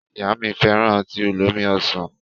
Ìyá mi fẹ́ràn ọtí olómi ọsàn.